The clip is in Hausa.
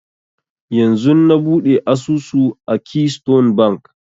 Yanzun na buɗe asusu a keystone bank